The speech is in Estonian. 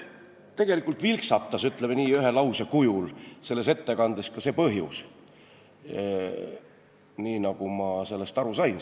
Tegelikult vilksatas, ütleme nii, ühe lause kujul selles ettekandes ka see põhjus, nii nagu ma sellest aru sain.